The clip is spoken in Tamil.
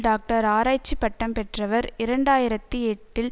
டாக்டர் ஆராய்ச்சி பட்டம் பெற்றவர் இரண்டு ஆயிரத்தி எட்டில்